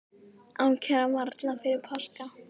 Ákæra varla fyrir páska